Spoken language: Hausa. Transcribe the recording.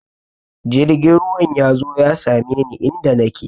Jirgin ruwan ya zo ya same ni inda nake!